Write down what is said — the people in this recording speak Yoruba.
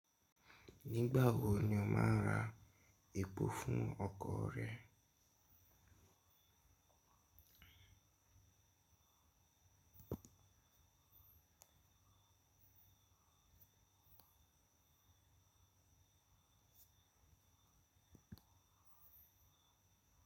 Nígbà wo ni o má a ra epo fún ọkọ̀ rẹ?